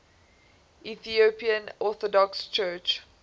ethiopian orthodox church